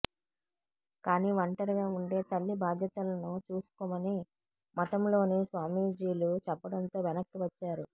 కానీ ఒంటరిగా ఉండే తల్లి బాధ్యతలను చూసుకొమని మఠంలోని స్వామీజీలు చెప్పడంతో వెనక్కి వచ్చారు